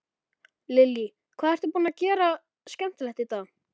Lillý: Hvað ertu búinn að gera skemmtilegt í dag?